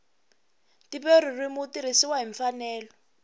ntivomarito wu tirhisiwile hi mfanelo